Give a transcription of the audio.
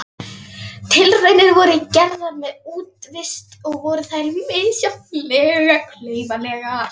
Tilraunir voru gerðar með útivist og voru þær misjafnlega klaufalegar.